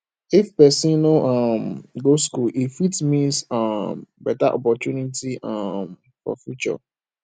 if pesin no um go school e fit miss um beta opportunity um for future